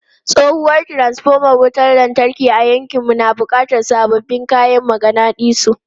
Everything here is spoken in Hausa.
Tsohuwar transfoma wutar lantarki a yankinmu na buƙatar sabbin kayan maganadisu.